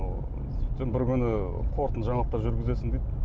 сөйтсем бір күні қорытынды жаңалықтар жүргізесің дейді